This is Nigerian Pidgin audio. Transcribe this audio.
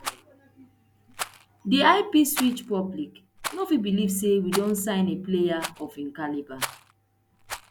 di ipswich public no fit believe say we don sign a player of im caliber